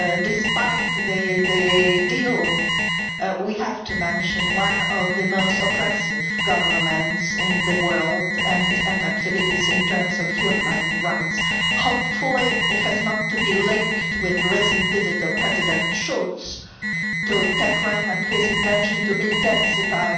Despite the deal, we have to mention one of the most oppressive governments in the world and its activities in terms of human rights. Hopefully, it is not linked with the recent the visit of President Schulz to Tehran and his intention to intensify